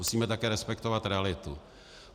Musíme také respektovat realitu.